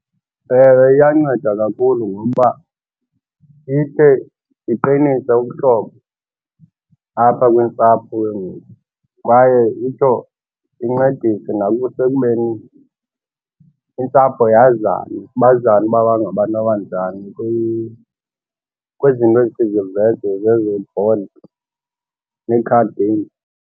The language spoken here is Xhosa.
Ewe, iyanceda kakhulu ngoba ikhe iqinise ubuhlobo apha kwintsapho ke ngoku kwaye itsho incedise nasekubeni iintsapho yazane. Bazana uba bangabantu abanjani kwizinto zezo board nee-card games.